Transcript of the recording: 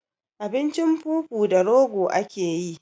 Abincin fufu da rogo akeyi